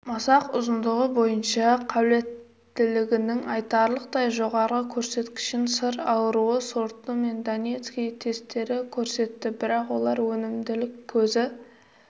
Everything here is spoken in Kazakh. масақ ұзындығы бойынша қабілеттілігінің айтарлықтай жоғары көрсеткішін сыр аруы сорты мен донецкий тесттері көрсетті бірақ олар өнімділік көзі